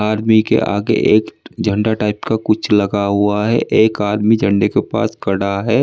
आदमी के आगे एक झंडा टाइप का कुछ लगा हुआ है एक आदमी झंडे के पास खड़ा है।